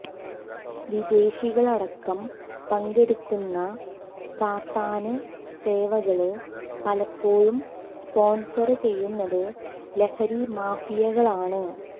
വിദേശികളടക്കം പങ്കെടുക്കുന്ന സാത്താന് സേവകള് പലപ്പോഴും സ്പോണ്സര് ചെയ്യുന്നത് ലഹരി മാഫിയകളാണ്